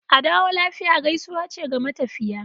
"Adawo lafiya" gaisuwa ce ga matafiya.